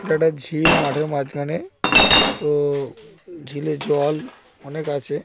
এটা একটা ঝিল মাঠের মাঝখানে তো-ও ঝিলে জল অনেক আছে ।